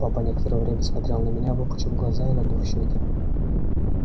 папа некоторое время смотрел на меня выпучив глаза и надув щеки